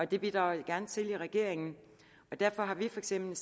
det bidrager jeg gerne til i regeringen og derfor har vi for eksempel